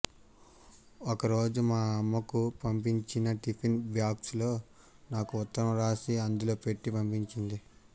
ఒక రోజు మా అమ్మకు పంపించిన టిఫిన్ బాక్సులో నాకు ఉత్తరం రాసి అందులో పెట్టి పంపించింది